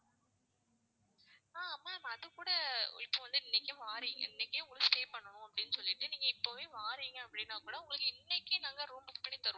ஆஹ் ma'am அது கூட இப்ப வந்து இன்னைக்கு வாரிங்க இன்னைக்கே உங்களுக்கு stay பண்ணனும் அப்படின்னு சொல்லிட்டு நீங்க இப்பவே வாரீங்க அப்படின்னா கூட உங்களுக்கு இன்னைக்கு நாங்க room book பண்ணித்தருவோம்